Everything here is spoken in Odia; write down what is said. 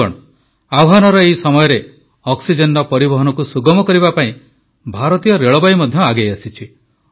ବନ୍ଧୁଗଣ ଆହ୍ୱାନର ଏହି ସମୟରେ ଅକ୍ସିଜେନର ପରିବହନକୁ ସୁଗମ କରିବା ପାଇଁ ଭାରତୀୟ ରେଳବାଇ ମଧ୍ୟ ଆଗେଇ ଆସିଛି